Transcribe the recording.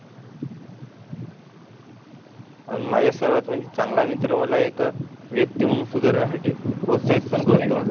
माझ्या सर्वात म्हणजे चांगला मित्र. मला एक व्यक्ती म्हणून सुधारण्या साठी प्रोत्साहित पण करतो.